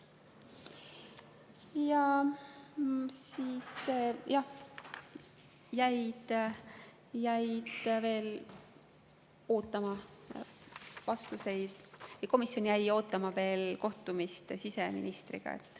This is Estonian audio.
Siis, jah, jäi komisjon ootama kohtumist siseministriga.